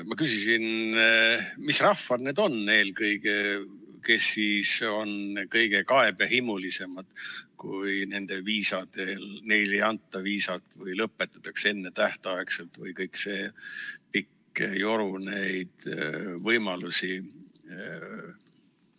" Ma küsisin, mis rahvad need on eelkõige, kes on kõige kaebehimulisemad, kui neile ei anta viisat või lõpetatakse ennetähtaegselt või kõik see pikk joru neid võimalusi.